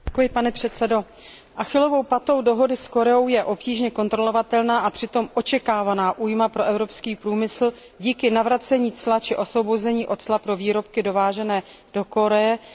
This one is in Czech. Achillovou patou dohody s Koreou je obtížně kontrolovatelná a přitom očekávaná újma pro evropský průmysl díky navracení cla či osvobození od cla pro výrobky dovážené do Koreje především z Číny.